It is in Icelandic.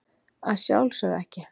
Að sjálfsögðu ekki.